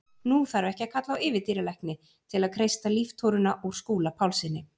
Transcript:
Nú þarf ekki að kalla á yfirdýralækni til að kreista líftóruna úr Skúla Pálssyni.